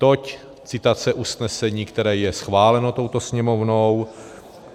Toť citace usnesení, které je schváleno touto Sněmovnou.